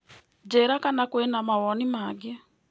Njĩra kana kwĩna mawoni mangĩ.